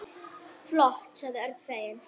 Flott sagði Örn feginn.